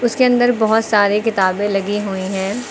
इसके अंदर बहोत सारे किताबें लगी हुई है।